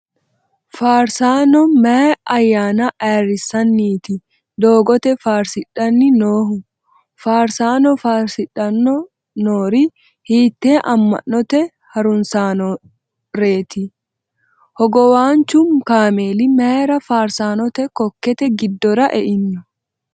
Faarasaano maayi ayyaana ayirrissanniiti doogote farsidhanni noohu ? Faarsaano faarsidhano noori hiittee ama'note harunsitannoreeti ? Hogowaanchu kaameeli mayra faarsaanote kokkete giddora e'ino ?